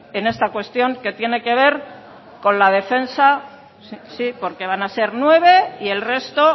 en esta cuestión que tiene que ver con la defensa sí porque van a ser nueve y el resto